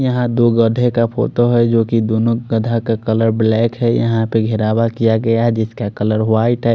यहाँ दो गधे का फोटो है जो की दोनों गधा का कलर ब्लैक है यहाँ पर गेरवा किया गया है जिसका कलर वाइट है।